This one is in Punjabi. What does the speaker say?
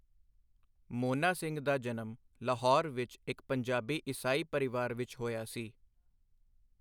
ਮੋਨਾ ਸਿੰਘ ਦਾ ਜਨਮ ਲਾਹੌਰ ਵਿੱਚ ਇੱਕ ਪੰਜਾਬੀ ਈਸਾਈ ਪਰਿਵਾਰ ਵਿੱਚ ਹੋਇਆ ਸੀ।